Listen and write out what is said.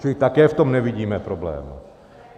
Čili také v tom nevidíme problém.